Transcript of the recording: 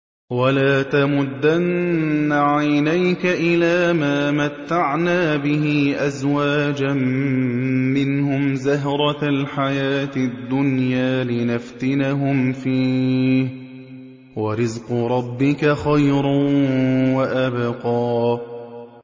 وَلَا تَمُدَّنَّ عَيْنَيْكَ إِلَىٰ مَا مَتَّعْنَا بِهِ أَزْوَاجًا مِّنْهُمْ زَهْرَةَ الْحَيَاةِ الدُّنْيَا لِنَفْتِنَهُمْ فِيهِ ۚ وَرِزْقُ رَبِّكَ خَيْرٌ وَأَبْقَىٰ